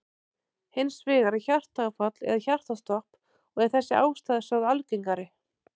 Hins vegar er hjartaáfall eða hjartastopp og er þessi ástæða sögð algengari.